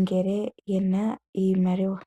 ngele yena iimaliwa.